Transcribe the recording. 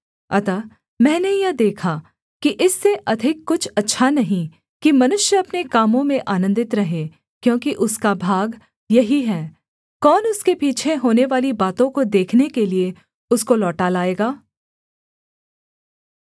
अतः मैंने यह देखा कि इससे अधिक कुछ अच्छा नहीं कि मनुष्य अपने कामों में आनन्दित रहे क्योंकि उसका भाग यही है कौन उसके पीछे होनेवाली बातों को देखने के लिये उसको लौटा लाएगा